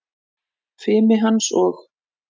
Fimi hans og